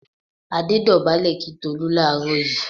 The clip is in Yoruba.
Adé dọ̀bálẹ̀ kí Tolú láàárọ̀ yìí.